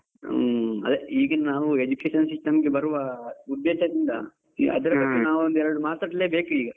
ಹ್ಮ್, ಅದೆ ಈಗ ನಾವು Education system ಗೆ ಬರುವ ಉದ್ದೇಶದಿಂದ, ಬಗ್ಗೆ ನಾವ್ ಒಂದೆರಡು ಮಾತಾಡ್ಲೆ ಬೇಕು ಈಗ.